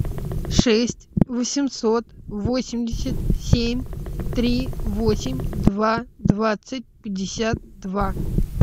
шесть восемьсот восемьдесят семь три восемь два двадцать пятьдесят два